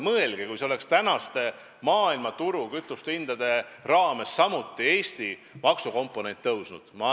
Mõelge, kui see oleks tänaste maailmaturu kütusehindade juures samuti Eesti maksukomponenti hinnas suurendanud!